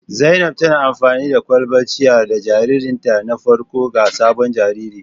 Zainab tana amfani da kwalbar ciyar da jaririnta na farko ga sabon jariri